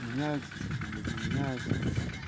меняются что то блядь не меняются